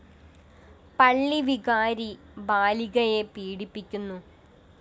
പള്ളി വികാരി ബാലികയെ പീഡിപ്പിക്കുന്നു